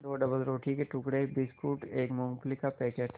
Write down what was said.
दो डबलरोटी के टुकड़े बिस्कुट एक मूँगफली का पैकेट